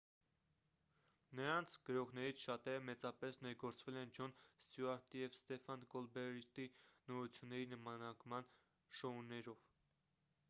նրանց գրողներից շատերը մեծապես ներգործվել են ջոն ստյուարտի և ստեֆան կոլբերտի նորությունների նմանակման շոուներով